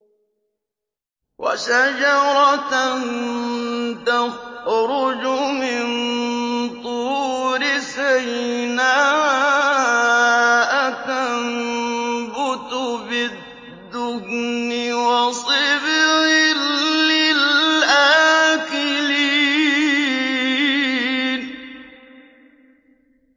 وَشَجَرَةً تَخْرُجُ مِن طُورِ سَيْنَاءَ تَنبُتُ بِالدُّهْنِ وَصِبْغٍ لِّلْآكِلِينَ